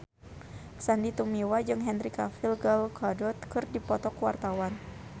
Sandy Tumiwa jeung Henry Cavill Gal Gadot keur dipoto ku wartawan